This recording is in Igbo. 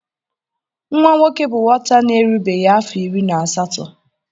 Nwa nwoke bụ nwata na-erubeghị afọ iri na asatọ.